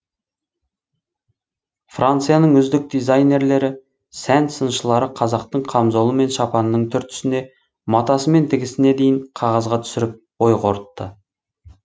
францияның үздік дизайнерлері сән сыншылары қазақтың қамзолы мен шапанының түр түсіне матасы мен тігісіне дейін қағазға түсіріп ой қорытты